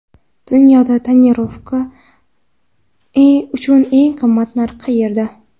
Dunyoda tonirovka uchun eng qimmat narx qayerda?.